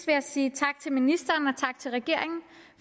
jeg sige tak til ministeren